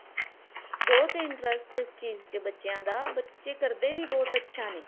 ਬਹੁਤ interest ਇਸ ਚੀਜ਼ ਚ ਬੱਚਿਆਂ ਦਾ ਬੱਚੇ ਕਰਦੇ ਵੀ ਬਹੁਤ ਅੱਛਾ ਨੇ